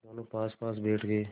दोेनों पासपास बैठ गए